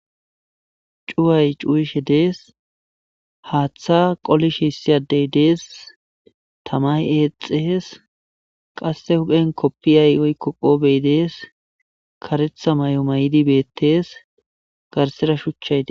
Cuway cuwishe dees. Haaththa issi addey qolishe dees. Tamay eexees. Qasse huphen kopiya woyko qoofey dees. Kareththa mayo mayidi beetees. Garsera shuchchay dees.